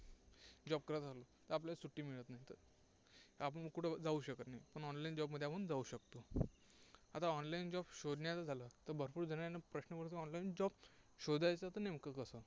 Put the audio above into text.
job करत असलो तर आपल्याला सुटी मिळत , आपण कुठंपण जाऊ शकत नाही. पण online job मध्ये आपण जाऊ शकतो. आता online job शोधण्याचं झालं तर भरपूर जणांना प्रश्न पडतो online job शोधायचा तर नेमकं कसं?